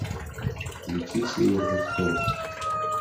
включи северный шторм